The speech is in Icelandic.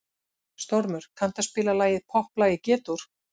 Stormur, kanntu að spila lagið „Popplag í G-dúr“?